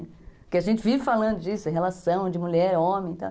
Porque a gente vive falando disso, em relação de mulher e homem e tal.